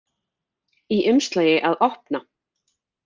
Í umslagi að opna.